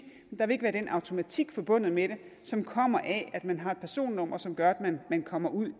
der vil ikke være den automatik forbundet med det som kommer af at man har et personnummer som gør at man kommer ud